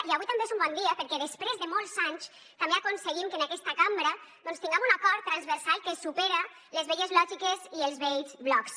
i avui també és un bon dia perquè després de molts anys també aconseguim que en aquesta cambra tingam un acord transversal que supera les velles lògiques i els vells blocs